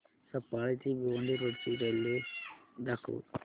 सफाळे ते भिवंडी रोड ची रेल्वे दाखव